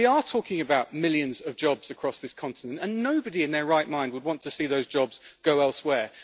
We are talking about millions of jobs across this continent, and nobody in their right mind would want to see those jobs go elsewhere.